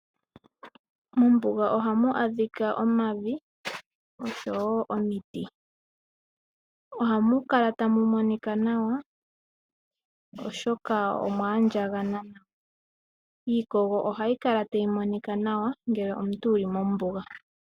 Mombuga ohamu adhika omavi oshowo omiti, ohamu kala tamu monika nawa oshoka omwa andjagana. Iikogo ohayi kala tayi monika nawa ngele omuntu wuli mombuga.